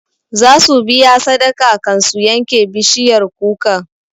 Za su biya sadaka kan su yanke bishiyar kukan